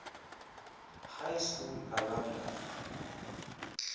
high school alumni